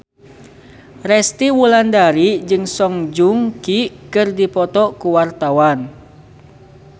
Resty Wulandari jeung Song Joong Ki keur dipoto ku wartawan